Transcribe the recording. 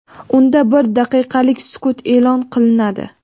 unda bir daqiqalik sukut e’lon qilinadi.